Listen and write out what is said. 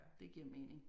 Det giver mening